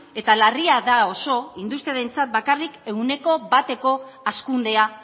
eta larria da oso industrialentzat bakarrik ehuneko bateko hazkundea